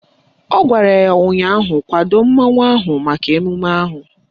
Ọ gwara ya ụnyaahụ " Kwado mmanwụ ahụ maka emume ahụ"!